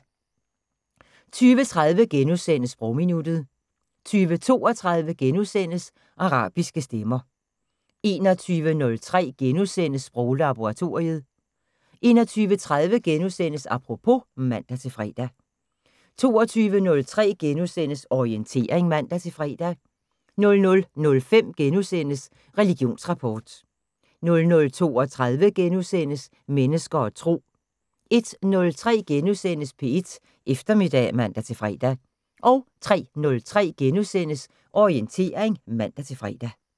20:30: Sprogminuttet * 20:32: Arabiske stemmer * 21:03: Sproglaboratoriet * 21:30: Apropos *(man-fre) 22:03: Orientering *(man-fre) 00:05: Religionsrapport * 00:32: Mennesker og Tro * 01:03: P1 Eftermiddag *(man-fre) 03:03: Orientering *(man-fre)